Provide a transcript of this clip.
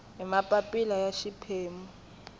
hi mapapila ya xiphemu xo